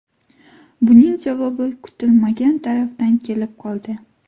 Buning javobi kutilmagan tarafdan kelib qoldi.